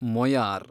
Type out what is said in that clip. Moyar